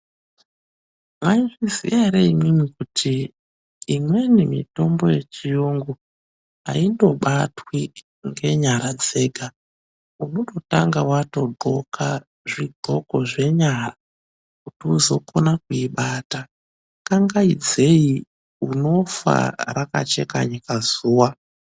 Maizviziva here imwimwi kuti imweni mitombo yechirungu aingobatwi ngenyara dzega. Unototanga wangonhla zvigonhlo zvenyara kuti uzokona kuibata, kangaidzeyi unofa rakacheka nyika zuva.